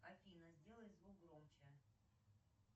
афина сделай звук громче